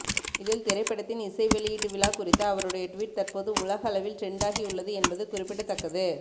இதில் திரைப்படத்தின் இசை வெளியீட்டு விழா குறித்த அவருடைய டுவீட் தற்போது உலக அளவில் டிரெண்ட் ஆகியுள்ளது என்பது குறிப்பிடத்தக்கது